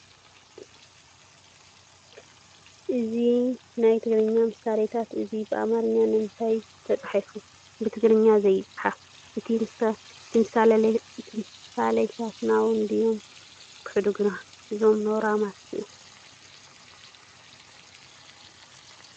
እዚ ናይ ትግርኛ ምስሌታት እዚ ብኣማርኛ ንምታይ ተፃሒፉ ? ብትግርኛ ዘይፃሓፍ ? እቲ ምሳሌታትና እውን ድዮም ዘሕድጉና እዞም ናውራማት እዚኦም።